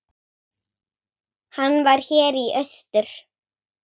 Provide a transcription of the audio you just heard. Hann var hér í austur.